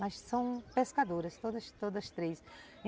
Mas são pescadoras, todas todas três.